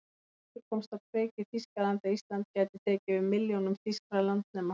Sá kvittur komst á kreik í Þýskalandi, að Ísland gæti tekið við milljónum þýskra landnema.